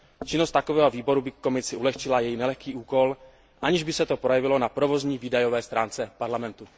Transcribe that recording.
Činnost takového výboru by Komisi ulehčila její nelehký úkol, aniž by se to projevilo na provozní výdajové stránce Parlamentu.